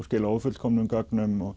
skila ófullkomnum gögnum og